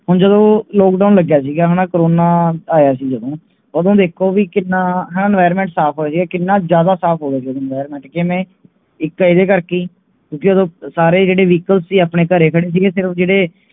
ਹੁਣ ਜਦੋ LOCK DOWN ਗਿਆ ਸੀਗਾ ਹਨ ਕਰੋਨਾ ਆਯਾ ਸੀ ਜਦੋ ਓਦੋ ਵੇਖੋ ਵੀ ਕਿੰਨਾਂ environment ਸਾਫ ਹੋਜੇ ਕਿਹਨਾਂ ਜਾਂਦਾ ਸਾਫ ਹੋਗਿਆ ਸੀ environment ਕਿਵੇਂ, ਇਕ ਇਹਦੇ ਕਰਕੇ ਕਿਉਕਿ ਓਦੋ ਸਾਰੇ ਜੇੜੇ vehicle ਸੀ ਆਪਣੇ ਘਰੇ ਖੜੇ ਸੀਗੇ ਸਿਰਫ ਜੇੜੇ